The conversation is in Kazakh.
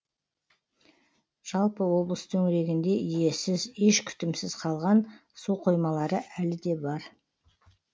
жалпы облыс төңірегінде иесіз еш күтімсіз қалған су қоймалары әлі де бар